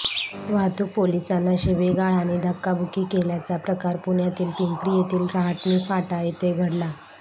वाहतूक पोलिसांना शिवीगाळ आणि धक्काबुक्की केल्याचा प्रकार पुण्यातील पिंपरी येथील रहाटणी फाटा येथे घडला